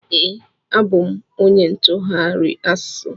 Ee, abụ m onye ntụgharị asụsụ.